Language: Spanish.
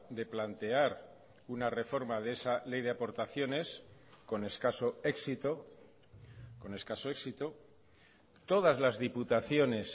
de plantear una reforma de esa ley de aportaciones con escaso éxito con escaso éxito todas las diputaciones